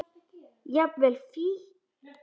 Jafnvel fíkn.